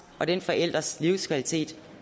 og den forælders livskvalitet